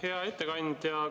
Hea ettekandja!